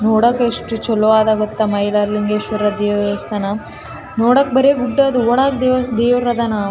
ನೋಡಾಕ್ ಎಷ್ಟು ಚಲೋ ಅದಾ ಗೊತ್ತಾ ಮೈಲಾರಲಿಂಗೇಶ್ವರ ದೇವಸ್ಥಾನ ನೋಡಕ್ ಬರಿ ಗುಡ್ಡ ಅದು ಒಳಗೆ ದೇವರ ದೇವರಾದ್ದನ .